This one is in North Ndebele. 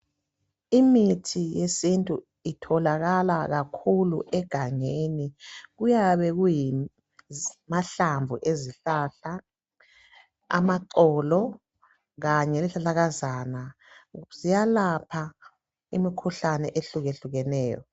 Imithi yesintu itholakala kakhulu egangeni kuyabe kungamahlamvu ezihlahla amaxolo kanye lezihlahlakazana ziyalapha imikhuhlane ehluke hlukeneyo.